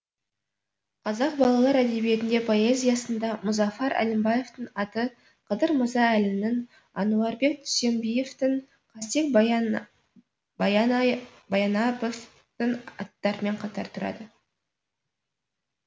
қазақ балалар әдебиетінде поэзиясында мұзафар әлімбаевтың аты қадыр мырза әлінің әнуарбек дүйсенбиевтің қастек баянаповтын аттарымен қатар тұрады